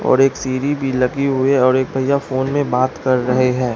और एक सीरी भी लगी हुई है और एक भैया फोन में बात कर रहे हैं।